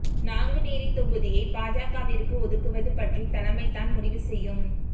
நாங்குநேரி தொகுதியை பாஜகவிற்கு ஒதுக்குவது பற்றி தலைமை தான் முடிவு செய்யும்